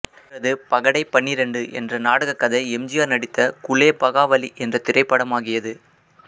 இவரது பகடை பன்னிரண்டு என்ற நாடகக் கதை எம் ஜி ஆர் நடித்த குலேபகாவலி என்ற திரைப்படமாகியது